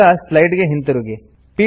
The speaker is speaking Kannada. ಈಗ ಸ್ಲೈಡ್ಸ್ ಗೆ ಹಿಂತಿರುಗಿ